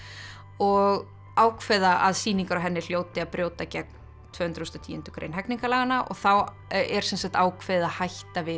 og ákveða að sýningar á henni hljóti að brjóta gegn tvö hundruð og tíundu grein hegningarlaganna og þá er sem sagt ákveðið að hætta við